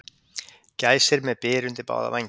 Gæsir með byr undir báða vængi